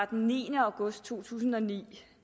den niende august to tusind og ni